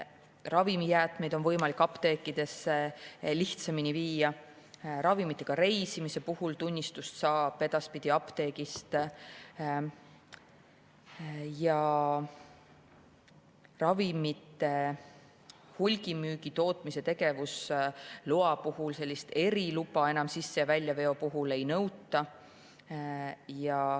Ravimijäätmeid on võimalik apteekidesse lihtsamini viia, ravimitega reisimise puhul saab tunnistuse edaspidi apteegist ja ravimite hulgimüügi või tootmise tegevusloa puhul eriluba sisse- ja väljaveo puhul enam ei nõuta.